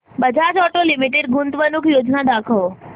Bajaj auto limited गुंतवणूक योजना दाखव